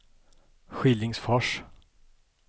Skillingsfors